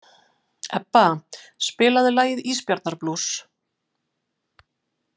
Ebba, spilaðu lagið „Ísbjarnarblús“.